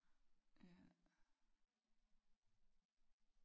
Ja